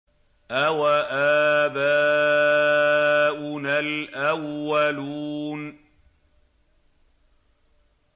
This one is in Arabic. أَوَآبَاؤُنَا الْأَوَّلُونَ